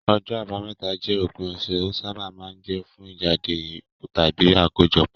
Ọjọ́ Àbámẹ́ta jẹ́ òpin ọ̀sẹ̀, ó sábà máa ń jẹ́ fún ìjáde tàbí àkójọpọ̀.